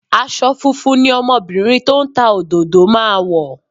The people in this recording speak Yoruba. Aṣọ funfun ni ọmọbìnrin tó ń ta òdòdó máa wọ̀